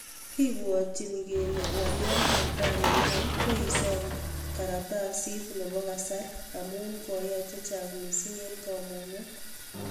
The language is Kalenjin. Kibwatyinii kelee ngalyoot netai neiyae ko isoom karatasiit nepo kasar amuu koiyai chechang mising eng kamunget